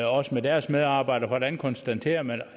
også med deres medarbejdere hvordan konstaterer man